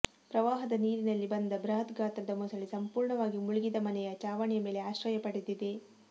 ಪ್ರವಾಹದ ನೀರಿನಲ್ಲಿ ಬಂದ ಬೃಹತ್ ಗಾತ್ರದ ಮೊಸಳೆ ಸಂಪೂರ್ಣವಾಗಿ ಮುಳುಗಿದ ಮನೆಯ ಛಾವಣಿಯ ಮೇಲೆ ಆಶ್ರಯ ಪಡೆದಿದೆ